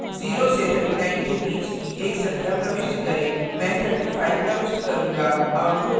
0 से 39 के बीच की एक संख्या प्रविष्ट करें मैं 35 प्रविष्ट करूंगा